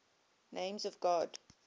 names of god